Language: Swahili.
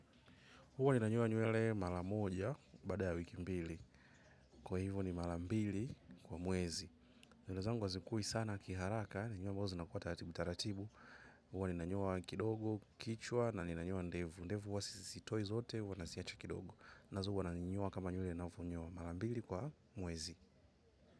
Huwa ninanywa nyuele mara moja baada ya wiki mbili. Kwa hivo ni mara mbili kwa mwezi. Nywelezangu wazikui sana kiharaka. Ninyua mwazo na kuwa tatibu-tatibu. Huwa nina nyoa kidogo, kichwa na nina nyoa ndevu. Ndevu wa sisi toi zote huwanasiacha kidogo. Nazo wana nyoa kama nywele na uvo nyoa malambili kwa mwezi.